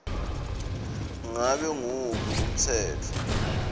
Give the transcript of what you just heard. ngabe nguwuphi umtsetfo